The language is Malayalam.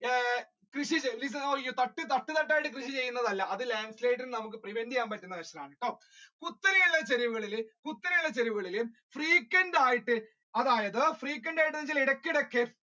തട്ട് തട്ടായിട്ട് കൃഷി കൃഷിചെയ്യുന്നത് അല്ല അത് landslide നമ്മുക്ക് prevent ചെയ്യാൻ frequent ആയിട്ട് അതായത് അല്ല frequent അല്ലെങ്കിൽ ഇടക്ക് ഇടക്ക്